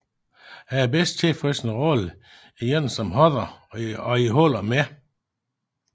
Han er bedst kendt for sin rolle i En som Hodder og i Hold om mig